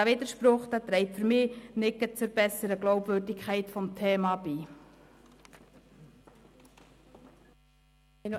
Dieser Widerspruch trägt für mich nicht gerade zur besseren Glaubwürdigkeit des Themas bei.